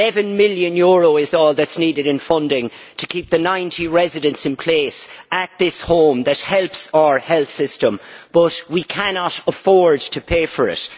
EUR 11 million is all that is needed in funding to keep the 90 residents in place at this home that helps our health system, but we cannot afford to pay for it.